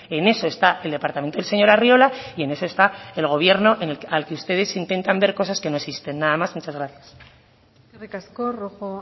en eso está el departamento del señor arriola y en eso está el gobierno al que ustedes intentan ver cosas que no existen nada más muchas gracias eskerrik asko rojo